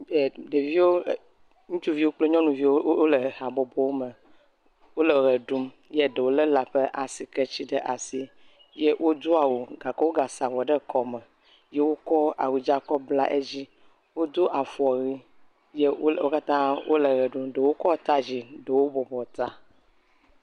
E… ɖeviwo, ŋutsuviwo kple nyɔnuviwo wole habɔbɔ me wole ʋe ɖum ye ɖewo lé lã ƒe asike ɖe asi, wodo awu gake wogakɔ avɔ sa ɖe kɔme ye wokɔ ahudza kɔ bla edzi. Wodo afɔwui ye wo katã wole ʋe ɖum, ɖewo kɔ ata yi dzi eye ɖewo bɔbɔ ta.